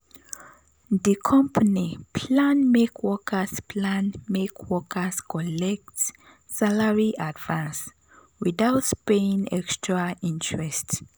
di company plan make workers plan make workers collect salary advance without paying extra interest.